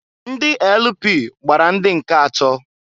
Ndị LP gbara ndị nke atọọ.